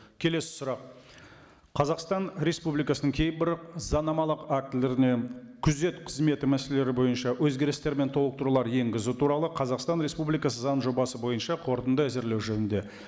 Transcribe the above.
келесі сұрақ қазақстан республикасының кейбір заңнамалық актілеріне күзет қызметі мәселелері бойынша өзгерістер мен толықтырулар енгізу туралы қазақстан республикасы заң жобасы бойынша қорытынды әзірлеу жөнінде